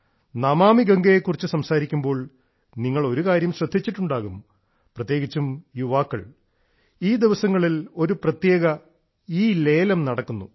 നമാമി ഗംഗയെ കുറിച്ച് സംസാരിക്കുമ്പോൾ നിങ്ങൾ ഒരു കാര്യം ശ്രദ്ധിച്ചിട്ടുണ്ടാകും പ്രത്യേകിച്ചും യുവാക്കൾ ഈ ദിവസങ്ങളിൽ ഒരു പ്രത്യേക ഇആക്ഷൻ ഇലേലം നടക്കുന്നു